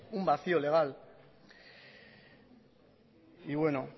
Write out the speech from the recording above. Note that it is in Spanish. un vacío legal y bueno